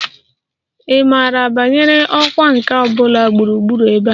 Ị maara banyere ọkwá nkà ọ bụla gburugburu ebe a?